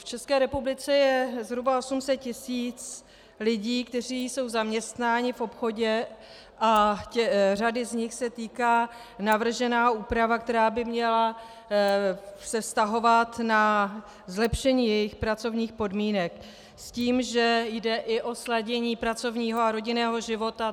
V České republice je zhruba 800 tisíc lidí, kteří jsou zaměstnáni v obchodě, a řady z nich se týká navržená úprava, která by se měla vztahovat na zlepšení jejich pracovních podmínek s tím, že jde i o sladění pracovního a rodinného života.